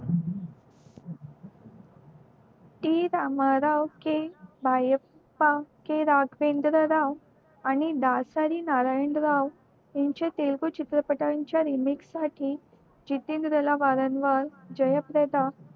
राजेंद्र राव आणि दासरी नारायण राव यांचे तेलगू चित्रपटच्या remix साठी जितेंद्रला वारंन वर जयेश दादा